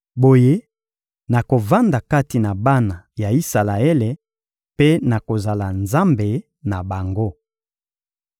Boye nakovanda kati na bana ya Isalaele mpe nakozala Nzambe na bango.